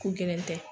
Ko gɛlɛn tɛ